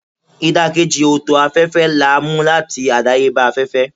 idakeji oto afefe la mu lati adayeba afefe.